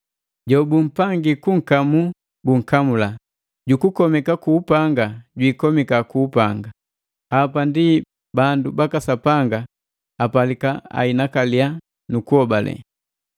Jobumpangi kunkamu bunkamula, ju kukomeka ku upanga jwikomika ku upanga. Hapa ndi bandu baka Sapanga apalika ainakalia nu kuhobale.”